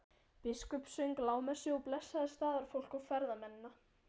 Biskup söng lágmessu og blessaði staðarfólk og ferðamennina.